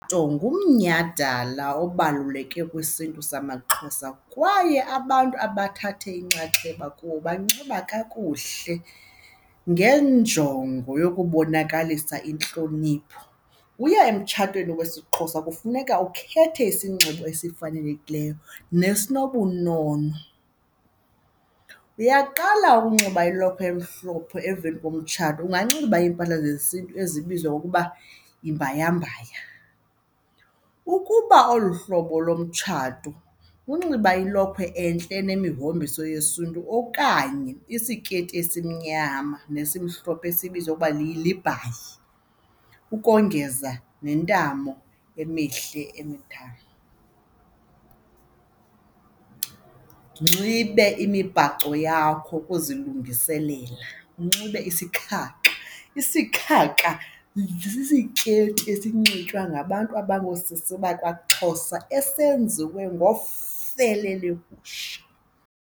ngomnyhadalala obaluleke kwisiNtu samaXhosa kwaye abantu abathatha inxaxheba kuwo banxiba kakuhle ngenjongo yokubonakalisa intlonipho. Uya emtshatweni wesiXhosa kufuneka ukhethe isinxibo esifanelekileyo nesinobunono. Uyaqala unxiba ilokhwe emhlophe, emveni komtshato unganxiba iimpahla zesiNtu ezibizwa ukuba yimbhaya mbaya. Ukuba olu hlobo lomtshato unxiba ilokhwe entle enemihombiso yesiNtu okanye isikeyiti esimnyama nesihlophe esiyibizwa ukuba libhayi ukongeza nentamo emihle emithathu. Unxibe imibhaco yakho ukuzilungiselela, unxibe isikhakha, isikhakha sisikeyiti esinxitywa ngabantu abangoosisi bakwaXhosa esenziwe ngofele legusha.